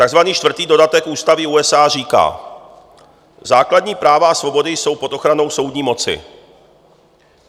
Takzvaný čtvrtý dodatek Ústavy USA říká: "Základní práva a svobody jsou pod ochranou soudní moci.